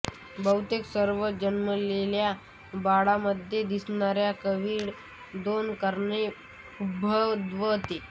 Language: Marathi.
बहुतेक सर्व जन्मलेल्या बाळामध्ये दिसणारी कावीळ दोन कारणाने उद्भवते